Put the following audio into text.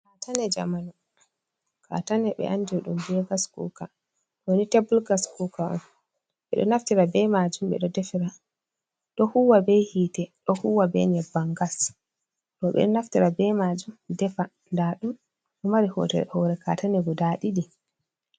Kaatane jamanu, kaatane ɓe andiɗum bee gas kuuka. Ɗooni teebul gas kuuka'on, ɓeɗo naftira be maajum ɓeɗo defiira. Ɗo huuwa be hiite ɗo huuwa be nyebbam gas. Ɗo ɓeɗo naftira be maajum deefa, ndaɗum ɗo maari horre hoore kaatine ɗidi.